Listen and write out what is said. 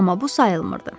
Amma bu sayılmırdı.